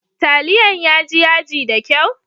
Taliyan ya ji yaji da kyau?